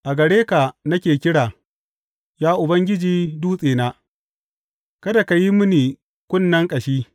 A gare ka nake kira, ya Ubangiji Dutsena; kada ka yi mini kunnen ƙashi.